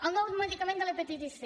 el nou medicament de l’hepatitis c